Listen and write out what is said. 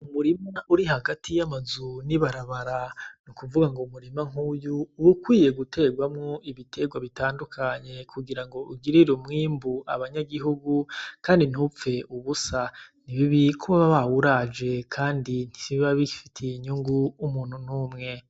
Umurima uri hagati y'amazu n'ibarabara, nukuvuga ngo umurima nkuyu uba ukwiye guterwamwo ibiterwa bitandukanye kugirango ugirire umwimbu abanyagihugu kandi ntupfe ubusa, ni bibi ko baba bawuraje kandi ntibiba bifitiye inyungu umuntu n'umwe.